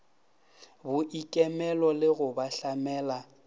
boikemelo le go ba hlamela